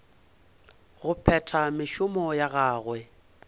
go phetha mešomo ya gagwe